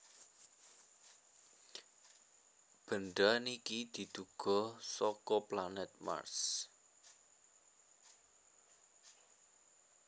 benda niki diduga saka planet Mars